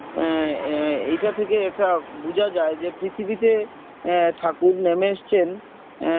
আহ আহ এইটা থেকে একটা বুঝা যায় যে পৃথিবীতে আহ ঠাকুর নেমে এসেছেন আহ